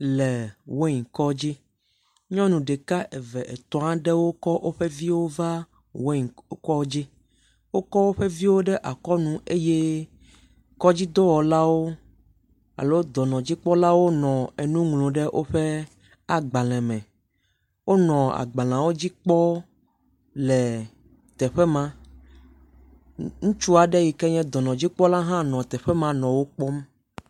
Le weyinkɔdzi. Nyɔnu ɖeka eve etɔ̃ aɖewo kɔ wovi va weyinkɔdzi. Wokɔ woƒe viwo ɖe akɔnu eye kɔdzidɔwɔlawo alo dɔnɔdzikpɔlawo nɔ enu ŋlɔm ɖe woƒe agbale me. Wonɔ agbaleawo dzi kpɔm le teƒe ma. Ŋutsu aɖe yi ke dɔnɔdzikpɔla hã nɔ teƒe ma nɔ wo kpɔm.